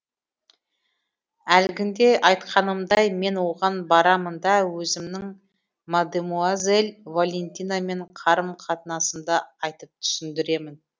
әлгінде айтқанымдай мен оған барамын да өзімнің мадемуазель валентинамен қарым қатынасымды айтып түсіндіремін